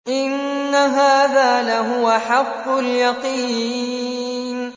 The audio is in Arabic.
إِنَّ هَٰذَا لَهُوَ حَقُّ الْيَقِينِ